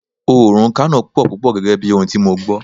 Oòrùn Kano pò púpò gẹ́gẹ́ bí ohun tí mo gbó.